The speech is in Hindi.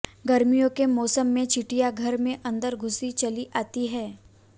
गर्मियों के मौसम में चींटियां घर में अंदर घुसी चली आती हैं